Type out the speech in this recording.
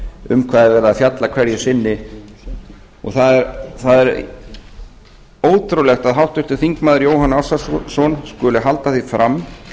um hvað er verið að fjalla hverju sinni það er ótrúlegt að háttvirtur þingmaður jóhann ársælsson skuli halda því fram